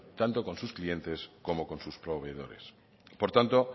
tanto con sus clientes como con sus proveedores por tanto